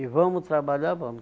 E vamos trabalhar, vamos.